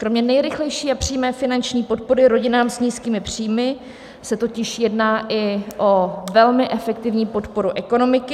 Kromě nejrychlejší a přímé finanční podpory rodinám s nízkými příjmy se totiž jedná i o velmi efektivní podporu ekonomiky.